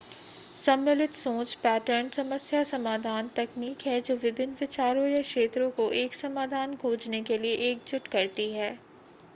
सम्मिलित सोच पैटर्न समस्या समाधान तकनीक है जो विभिन्न विचारों या क्षेत्रों को एक समाधान खोजने के लिए एकजुट करती है